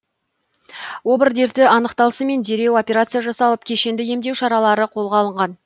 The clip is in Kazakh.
обыр дерті анықталысымен дереу операция жасалып кешенді емдеу шаралары қолға алынған